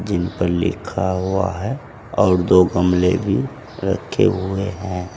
इनपे लिखा हुआ है और दो गमले भी रखे हुए हैं।